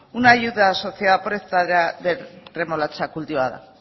una ayuda asociada por hectárea de remolacha cultivada